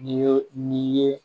N'i ye n'i ye